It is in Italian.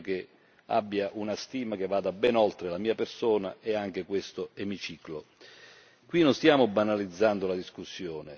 Credo che goda di una stima che va ben oltre la mia persona e anche questo emiciclo. Qui non stiamo banalizzando la discussione.